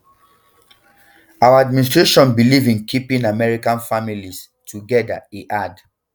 our administration believe in keeping american families um togeda e add